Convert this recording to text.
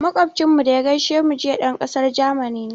Moƙocinmu da ya gaishe mu jiya, ɗan ƙasar Jamani ne.